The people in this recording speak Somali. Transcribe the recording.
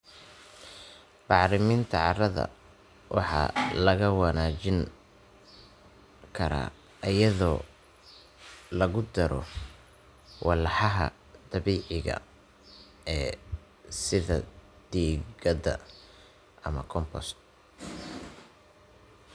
Bacriminta carrada waxaa lagu wanaajin karaa iyadoo lagu daro walxaha dabiiciga ah sida digada ama compost.